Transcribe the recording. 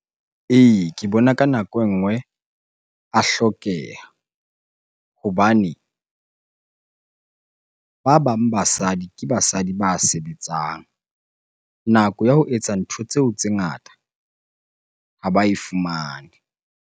Ee, ke bona ka nako engwe a hlokeha hobane ba bang basadi, ke basadi ba sebetsang. Nako ya ho etsa ntho tseo tse ngata ha ba e fumane.